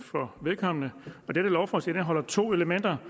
for vedkommende dette lovforslag indeholder to elementer